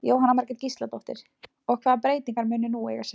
Jóhanna Margrét Gísladóttir: Og, hvaða breytingar munu nú eiga sér stað?